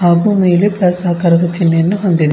ಹಾಗು ಮೇಲೆ ಪ್ಲಸ್ ಆಕಾರದ ಚಿಹ್ನೆಯನ್ನು ಹೊಂದಿದೆ.